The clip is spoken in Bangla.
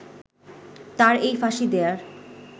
তার এই ফাঁসি দেয়ার